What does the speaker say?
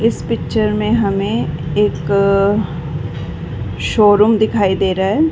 इस पिक्चर में हमे एक अ शोरूम दिखाई दे रहा है।